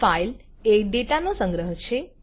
ફાઈલએ ડેટાનો સંગ્રહ છે